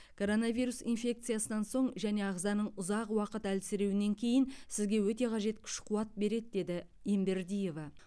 коронавирус инфекциясынан соң және ағзаның ұзақ уақыт әлсіреуінен кейін сізге өте қажет күш қуат береді деді ембердиева